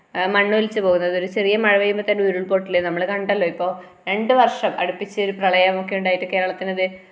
ആ മണ്ണൊലിച്ചു പോകുന്നത് ഒരു ചെറിയ മഴ പെയ്യുമ്പോൾ തന്നെ ഉരുൾ പൊട്ടല് നമ്മള് കണ്ടല്ലോ ഇപ്പൊ രണ്ടുവർഷം അടിപ്പിച്ചിരു പ്രളയം ഒക്കെയുണ്ടായിട്ട് കേരളത്തിനിത്